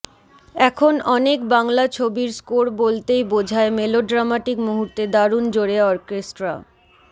এখন অনেক বাংলা ছবির স্কোর বলতেই বোঝায় মেলোড্রামাটিক মুহূর্তে দারুণ জোরে অর্কেস্ট্রা